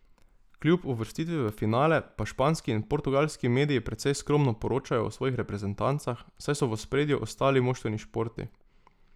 Kljub uvrstitvi v finale pa španski in portugalski mediji precej skromno poročajo o svojih reprezentancah, saj so v ospredju ostali moštveni športi.